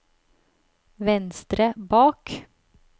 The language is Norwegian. venstre bak